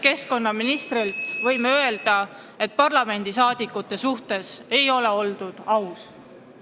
Keskkonnaministri vastuste põhjal võime öelda, et parlamendiliikmete vastu ei ole oldud ausad.